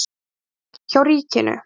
Björn: Hjá ríkinu?